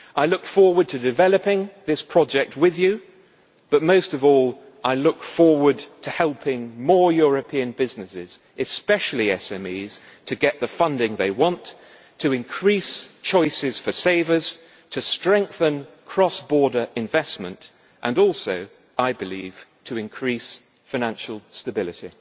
I look forward to developing this project with you, but most of all, I look forward to helping more European businesses, especially SMEs, get the funding they want, in order to increase choices for savers, to strengthen cross border investment and also, I believe, to increase financial stability.